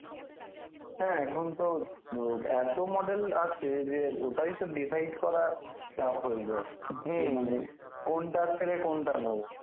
হ্যাঁ এখন তো ও এত model আসছে যে ওটাই তো decide করা চাপ হয়ে যায় কোনটা ছেড়ে কোনটা নোবো